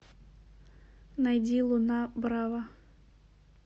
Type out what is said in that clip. найди луна брава